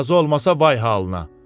Razı olmasa vay halına.